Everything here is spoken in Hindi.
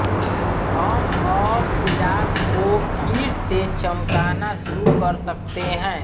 हम अब इराक को फिर से चमकना शुरू कर सकते हैं